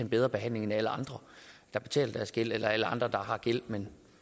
bedre behandling end alle andre der betaler deres gæld eller alle andre der har gæld men